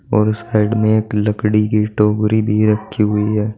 और उस साइड में एक लकड़ी की टोकरी भी रखी हुई है।